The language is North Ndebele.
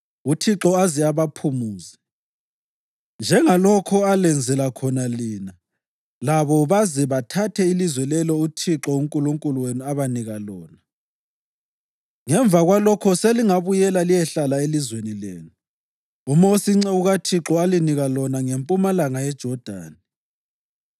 uThixo aze abaphumuze, njengalokho alenzele khona lina, labo baze bathathe ilizwe lelo uThixo uNkulunkulu wenu abanika lona. Ngemva kwalokho selingabuyela liyehlala elizweni lenu, uMosi inceku kaThixo alinika lona ngempumalanga yeJodani.”